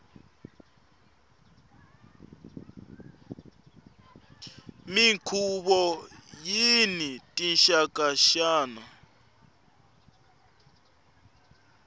minkhuvo yini tinxaka nxaka